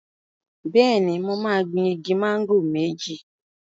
Bẹ́ẹ̀ni, mo máa gbin igi máńgò méjì.